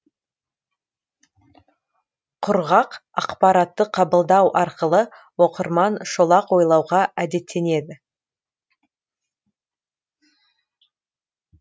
құрғақ ақпаратты қабылдау арқылы оқырман шолақ ойлауға әдеттенеді